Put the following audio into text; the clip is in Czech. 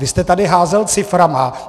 Vy jste tady házel ciframi.